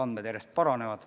Need järjest paranevad.